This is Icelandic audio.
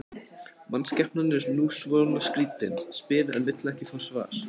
Mannskepnan er nú svona skrýtin, spyr en vill ekki fá svar.